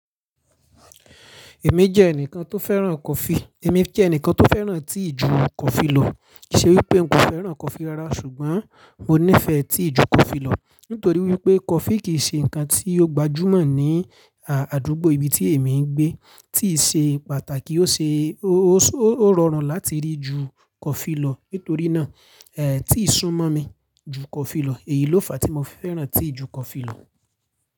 Èmi jẹ́ ẹnìkan tó fẹ́ràn coffee. Èmi je ẹnìkan tó fẹ́ràn tea ju coffee lọ. Ṣe wípé n kò fẹ́ràn coffee rárá ṣùgbọ́n mo nífẹ̀ẹ́ tea ju coffee lọ. Nítorí wípé coffee kìí ṣe ǹkan tí ó gbajúmọ̀ ní, à, àdúgbò ibi tí èmi ń gbé, tea ṣe pàtàkì ó ṣe, ó, ó rọrùn láti rí ju coffee lọ. Nítorí náà, ẹ́, tea sún mọ́ mi ju coffee lọ èyí ló fa tí mo fẹ́ràn tea ju coffee lọ.